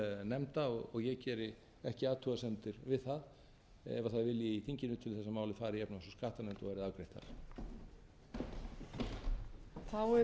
nefnda ég geri ekki athugasemdir við það ef það er vilji í þinginu til þess að málið fari í efnahags og skattanefnd og verði afgreitt þar